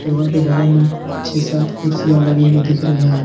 Table के बगल में छः सात कुर्सियां लगी हुई दिख रही हैं।